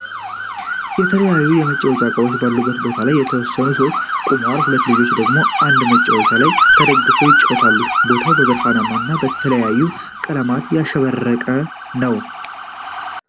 የተለያዩ የመጫዎች እቃዎች ባሉበት ቦታ ላይ የተወሰኑ ሰዎች ቆመዋል ሁለት ልጆች ደግሞ በአንድ መጫዎች ላይ ተደግፈው ይጫወታሉ። ቦታው በብርሃን እና በተለያዩ ቀለማት ያሸበረቀ ነው።